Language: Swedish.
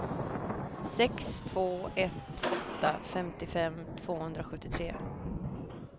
sex två ett åtta femtiofem tvåhundrasjuttiotre